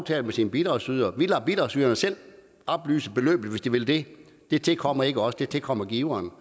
det med sin bidragsyder vi lader bidragsyderne selv oplyse beløbet hvis de vil det det tilkommer ikke os det tilkommer giveren